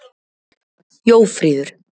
Jófríður